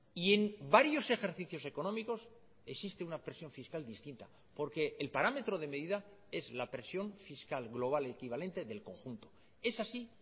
y en varios ejercicios económicos existe una presión fiscal distinta porque el parámetro de medida es la presión fiscal global equivalente del conjunto es así